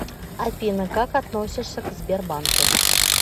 афина как относишься к сбербанку